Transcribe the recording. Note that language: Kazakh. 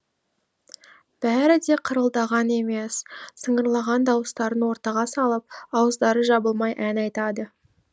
бәрі де қырылдаған емес сыңғырлаған дауыстарын ортаға салып ауыздары жабылмай ән айтады